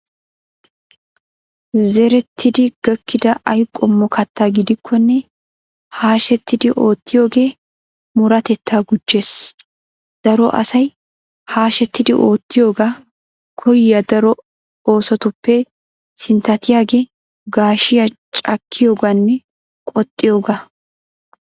Zerettidi gakkida ay qommo kattaa gidikkonne hashetidi oottiyogee murutatettaa gujjees. Daro asay hashetidi oottiyogaa koyyiya daro oosotuppe sinttatiyagee gaashiya cakkiyogaanne qoxxiyogaa.